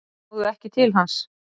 Náðu ekki til hans